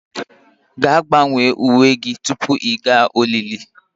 Gaa, gbanwee uwe gị tupu ị gaa olili